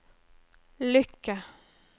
lykke